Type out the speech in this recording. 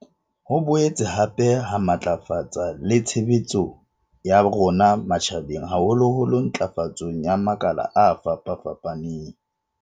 Ho boetse hape ha matlafatsa le tshebetso ya rona matjha beng haholoholo ntlafatsong ya makala a fapafapaneng.